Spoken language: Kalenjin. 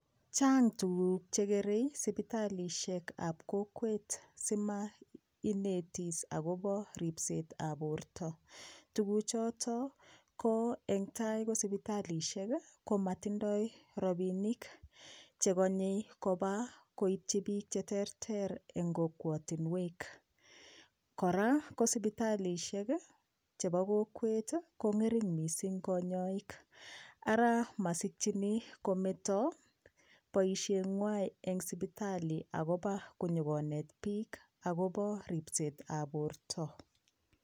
Chang tuguk chekerei sipitalishek ap kokwet simainetis akobo ripset ab porto tukuchoto ko eng tai ko sipitalishek komatindoi ropishek chekonyei kopa koitchi piik cheterter eng kokwotinwek kora ko sipitalishek chebo kokwet kong'ering mising konyoik ara masikchini kometo boishengwai eng sipitali akopa konyikoneti piik akobo ripset ab porto